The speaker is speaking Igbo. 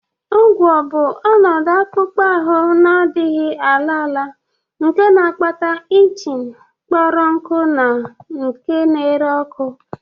Ugwa bụ ọnọdụ akpụkpọ ahụ na-adịghị ala ala nke na-akpata itching, kpọrọ nkụ na nke na-ere ọkụ